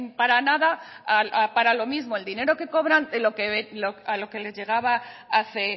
para nada para lo mismo el dinero que cobran a lo que les llegaba hace